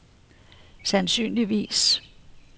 sandsynligvis